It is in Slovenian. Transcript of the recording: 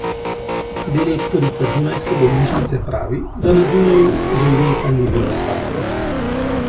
Direktorica dunajske bolnišnice pravi, da na Dunaju že leta ni bilo stavke.